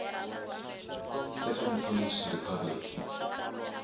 second polish republic